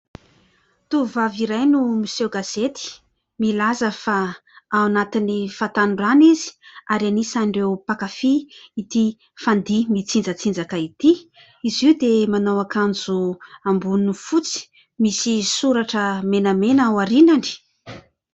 Tovovavy iray no miseo gazety, milaza fa ao anatin'ny fahatanorana izy ary anisan'ireo mpankafy itỳ fandihy mitsinjatsinjaka itỳ. Izy io dia manao akanjo amboniny fotsy, misy soratra menamena aorianany.